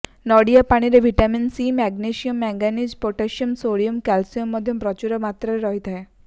ନଡ଼ିଆ ପାଣିରେ vitamin C magnesium manganese potassium sodium calcium ମଧ୍ୟ ପ୍ରଚୁର ମାତ୍ରାରେ ରହିଥାଏ